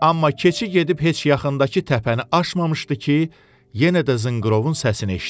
Amma keçi gedib heç yaxındakı təpəni aşmamışdı ki, yenə də zınqırovun səsini eşitdi.